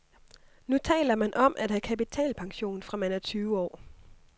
Nu taler man om at have kapitalpension, fra man er tyve år.